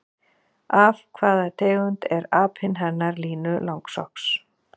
Af hvaða tegund er apinn hennar Línu langsokks?